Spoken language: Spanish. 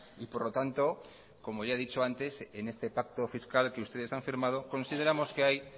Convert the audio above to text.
y por lo tanto como ya he dicho antes en este pacto fiscal que ustedes han firmado consideramos que hay